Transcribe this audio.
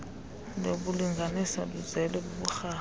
yokulingaaniswa luzele buburharha